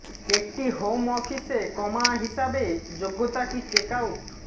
একটি হোম অফিসে কমা হিসাবে যোগ্যতা কি চেক আউট